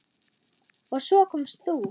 Og svo komst þú!